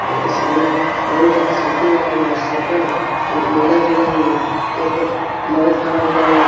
घर के सामने बहुत सारा साइकिल लगा हुआ है शटर है एक महिला खड़ी हुई है एक मरद खड़ा हुआ उआ --